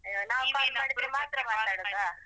ನಾವ್ call ಮಾಡಿದ್ರೆ ಮಾತ್ರ ಮಾತಾಡುದಾ.